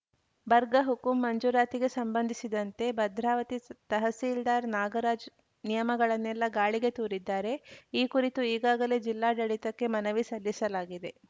ಬರ್ಗ ಹುಕುಂ ಮಂಜೂರಾತಿಗೆ ಸಂಬಂಧಿಸಿದಂತೆ ಭದ್ರಾವತಿ ಸ್ ತಹಸೀಲ್ದಾರ್‌ ನಾಗರಾಜ್‌ ನಿಯಮಗಳನ್ನೆಲ್ಲ ಗಾಳಿಗೆ ತೂರಿದ್ದಾರೆ ಈ ಕುರಿತು ಈಗಾಗಲೇ ಜಿಲ್ಲಾಡಳಿತಕ್ಕೆ ಮನವಿ ಸಲ್ಲಿಸಲಾಗಿದೆ